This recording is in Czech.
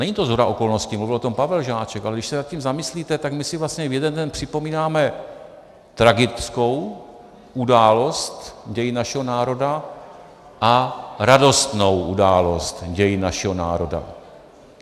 Není to shoda okolností, mluvil o tom Pavel Žáček, ale když se nad tím zamyslíte, tak my si vlastně v jeden den připomínáme tragickou událost dějin našeho národa a radostnou událost dějin našeho národa.